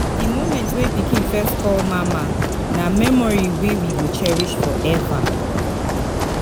Di moment wey pikin first call mama, na memory we we go cherish forever.